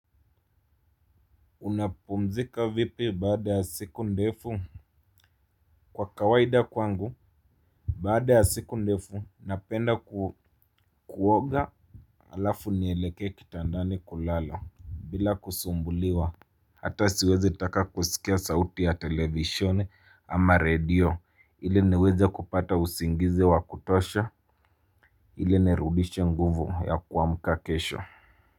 Unapumzika vipi baada ya siku ndefu. Kwa kawaida kwangu baada ya siku ndefu napenda kuoga. Alafu nielekee kitandani kulala bila kusumbuliwa hata siwezi taka kusikia sauti ya televisheni ama redio ili niwezi kupata usingizi wa kutosha. Ili nirudishe nguvu ya kuamuka kesho.